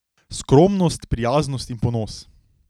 Skromnost, prijaznost in ponos.